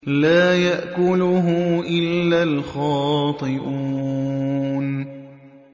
لَّا يَأْكُلُهُ إِلَّا الْخَاطِئُونَ